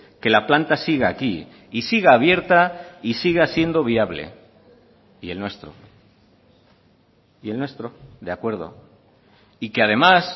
que la planta siga aquí y siga abierta y siga siendo viable y el nuestro y el nuestro de acuerdo y que además